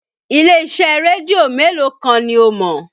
Ilé-iṣẹ́ rédíò mélòó kan ni o mọ̀?